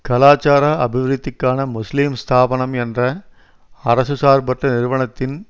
கலாச்சார அபிவிருத்திக்கான முஸ்லிம் ஸ்தாபனம் என்ற அரசு சார்பற்ற நிறுவனத்தின்